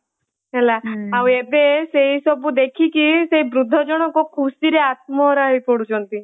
ହେଲା ଆଉ ଏବେ ସେଇ ସବୁ ଦେଖିକି ସେ ବୃଦ୍ଧ ଜଣକ ଖୁସିରେ ଆତ୍ମହରା ହେଇ ପଡ଼ୁଛନ୍ତି।